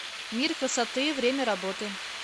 мир красоты время работы